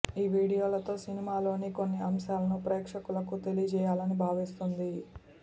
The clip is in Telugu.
ఈ వీడియోలతో ఈ సినిమాలోని కొన్ని అంశాలను ప్రేక్షకులకు తెలియజేయాలని భావిస్తోంది